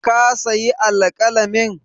Ka sayi alƙalamin?